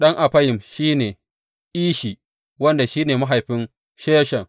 Ɗan Affayim shi ne, Ishi, wanda shi ne mahaifin Sheshan.